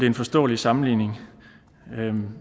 en forståelig sammenligning